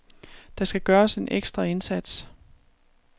Der skal gøres en ekstra indsats.